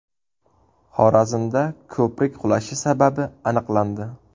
Xorazmda ko‘prik qulashi sababi aniqlandi.